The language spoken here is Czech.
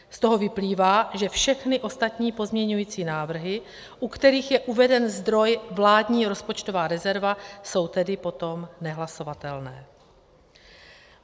Z toho vyplývá, že všechny ostatní pozměňující návrhy, u kterých je uveden zdroj vládní rozpočtová rezerva, jsou tedy potom nehlasovatelné.